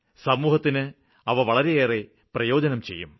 സമൂഹത്തിന് അവ വളരെ പ്രയോജനം ചെയ്യും